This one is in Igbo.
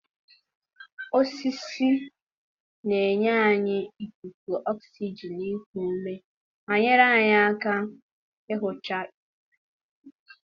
osisi na-enye anyị ikuku oxygen iku ume ma nyere aka ihicha ikuku.